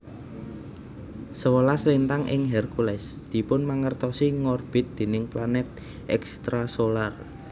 Sewelas lintang ing Hercules dipunmangertosi ngorbit déning planet extrasolar